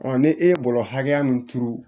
ni e ye bɔrɔ hakɛ min turu